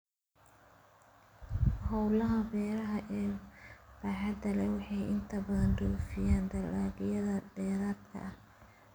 Hawlaha beeraha ee baaxadda leh waxay inta badan dhoofiyaan dalagyada dheeraadka ah